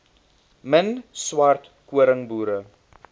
min swart koringboere